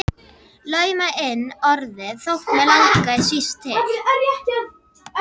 Lauma inn orði þótt mig langi síst til.